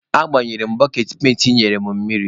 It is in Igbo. Agbanyere m boketị penti ị nyere m mmiri.